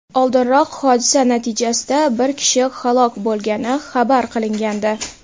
Oldinroq hodisa natijasida bir kishi halok bo‘lgani xabar qilingandi .